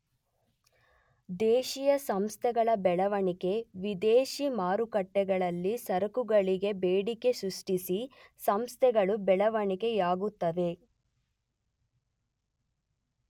ದೇಶೀಯ ಸಂಸ್ಥೆಗಳ ಬೆಳವಣಿಗೆ, ವಿದೇಶಿ ಮಾರುಕಟ್ಟೆಗಳಲ್ಲಿ ಸರಕುಗಳಿಗೆ ಬೇಡಿಕೆ ಸೃಷ್ಟಿಸಿ ಸಂಸ್ಥೆಗಳು ಬೆಳೆವಣಿಗೆಯಾಗುತ್ತವೆ.